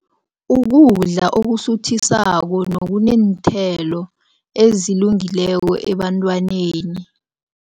Ukudla okusuthisako nokuneenthelo ezilungileko ebantwaneni.